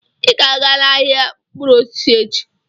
Ị ga-aga n'ahịa mkpụrụ osisi echi.